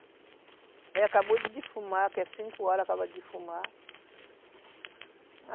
Aí acabou de difumar, que é cinco horas, acaba de difumar.